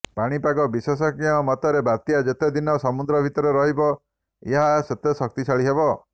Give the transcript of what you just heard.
ପାଣିପାଗ ବିଶେଷଜ୍ଞଙ୍କ ମତରେ ବାତ୍ୟା ଯେତେ ଦିନ ସମୁଦ୍ର ଭିତରେ ରହିବ ଏହା ସେତେ ଶକ୍ତିଶାଳୀ ହେବ